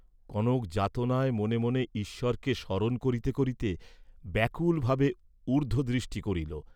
কনক যাতনায় মনে মনে ঈশ্বরকে স্মরণ করিতে করিতে ব্যাকুল ভাবে ঊর্দ্ধদৃষ্টি করিল।